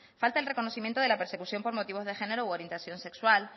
falta el reconocimiento de la persecución por motivo de género u orientación sexual